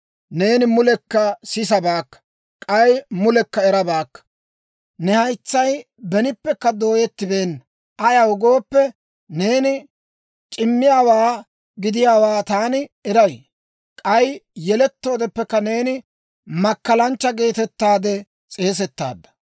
Neeni mulekka sisabaakka; k'ay mulekka erabaakka. Ne haytsay benippekka dooyettibeenna. Ayaw gooppe, neeni c'immiyaawaa gidiyaawaa taani eray; k'ay yelettoodeppekka neeni makkalanchcha geetettaade s'eesettaadda.